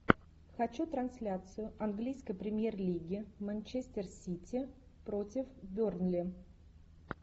хочу трансляцию английской премьер лиги манчестер сити против бернли